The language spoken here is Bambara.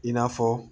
I n'a fɔ